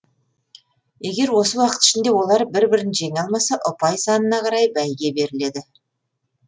егер осы уақыт ішінде олар бір бірін жеңе алмаса ұпай санына қарай бәйге беріледі